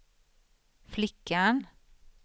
flickan